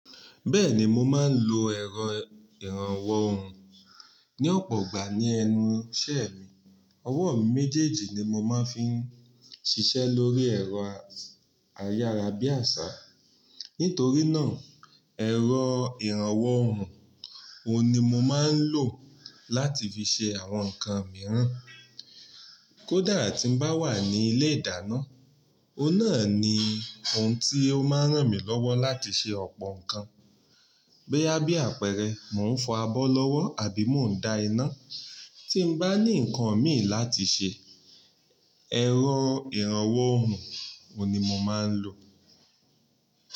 Bẹ́ẹ̀ni mo máa ń lo ẹ̀rọ ìrànwọ́ òòrùn ní ọ̀pọ̀ ìgbà ní ẹnu iṣẹ́ mi. Ọwọ́ mi méjèèjì ni mo máa ń fi ń ṣiṣẹ́ lórí ẹ̀rọ ayára bí àṣá. Nítorí náà ẹ̀rọ ìrànwọ́ òòrùn òun ni mo máa ń lò láti fi ṣe àwọn nǹkan mìíràn. Kódà tí n bá wà ní ilé-ìdáná, òun náà ni òun tí ó máa ń ràn mí lọ́wọ́ láti ṣe ọ̀pọ̀ nǹkan. Boya bí àpẹẹrẹ, mò ń fọ abọ́ lọ́wọ́ àbí mò ń da iná. Tí n bá ní nǹkan mìí láti ṣe, ẹ̀rọ ìrànwọ́ òòrùn òun ni mo máa ń lò.